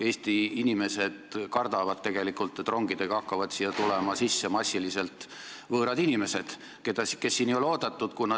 Eesti inimesed kardavad tegelikult, et siia hakkab rongidega massiliselt tulema võõraid inimesi, kes ei ole siin oodatud.